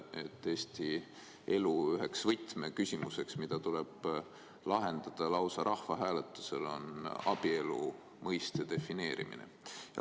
Üks Eesti elu võtmeküsimus, mis tuleb lahendada lausa rahvahääletusel, on abielu mõiste defineerimine.